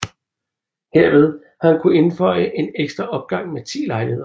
Herved har han kunne inføje en ekstra opgang med 10 lejligheder